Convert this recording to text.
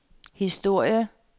historie